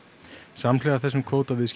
samhliða þessum